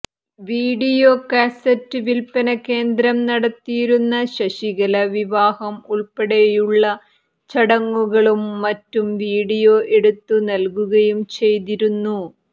video cassette വിൽപന കേന്ദ്രം നടത്തിയിരുന്ന ശശികല വിവാഹം ഉൾപ്പെടെയുള്ള ചടങ്ങുകളും മറ്റും വിഡിയോ എടുത്തു നൽകുകയും ചെയ്തിരുന്നു